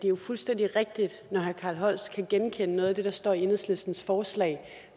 er fuldstændig rigtigt når herre carl holst kan genkende noget af det der står i enhedslistens forslag